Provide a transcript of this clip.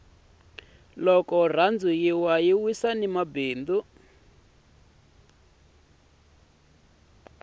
loko rhandi yi wa yi wisa ni mabindzu